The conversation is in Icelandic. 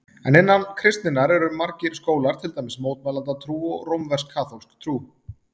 En innan kristninnar eru margir skólar, til dæmis mótmælendatrú og rómversk-kaþólsk trú.